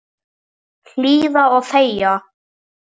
Hlýða og þegja.